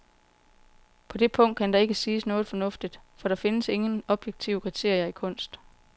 På det punkt kan der heller ikke siges noget fornuftigt, for der findes ingen objektive kriterier i kunst.